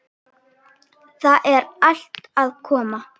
Það er allt að koma.